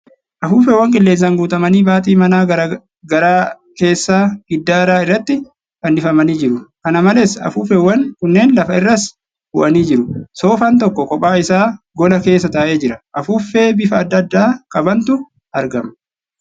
Afuuffeewwan qilleensaan guutamanii baaxii manaa garaa keessaa di giddaara irratti fannifamanii jiru. Kana malees, afuuffeewwan kunneen lafa irras bu'anii jiru. Soofaan tokko kophaa isaa gola keessa taa'ee jira. Afuuffee bifa adda addaa qabantu argama.